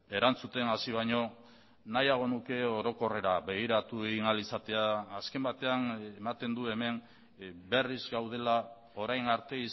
erantzuten hasi baino nahiago nuke orokorrera begiratu egin ahal izatea azken batean ematen du hemen berriz gaudela orain arte